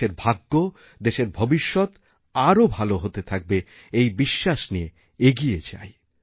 দেশের ভাগ্য দেশের ভবিষ্যৎ আরওভাল হতে থাকবে এই বিশ্বাস নিয়ে এগিয়ে যাই